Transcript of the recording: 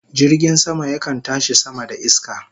Jirgin sama yakan tashi sama da iska